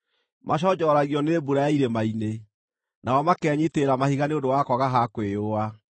Maconjoragio nĩ mbura ya irĩma-inĩ, nao makenyiitĩrĩra mahiga nĩ ũndũ wa kwaga ha kwĩyũa.